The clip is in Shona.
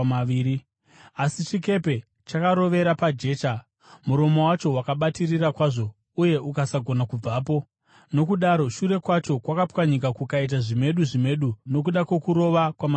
Asi chikepe chakarovera pajecha. Muromo wacho wakabatirira kwazvo uye ukasagona kubvapo, nokudaro shure kwacho kwakapwanyika kukaita zvimedu zvimedu nokuda kwokurova kwamasaisai.